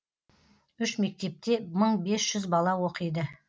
үш мектепте мың бес жүз бала оқиды